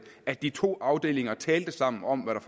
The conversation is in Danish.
at de to afdelinger talte sammen om hvad